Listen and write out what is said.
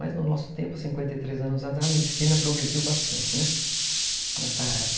Mas no nosso tempo, cinquenta e três anos atrás, a medicina progrediu bastante, né, nessa área.